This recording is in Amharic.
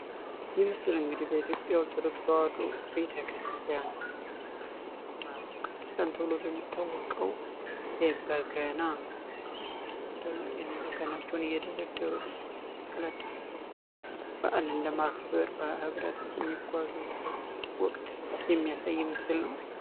ይህ ምስል እንግዲህ በኢትዮጵያ ኦርቶዶክስ ተዋዶ ቤተ ክርስቲያን ማህበረ ቅዱስ ተብሎ በሚታወቀው በገና ሰልጥኖ ኔበገናቸውን እየደረደሩ ወደ መስቅላደባባይ በአል እን ለማክብር ህብረት የሚጓዙበት ወቅት የሚያሳይ ይምስል ነው።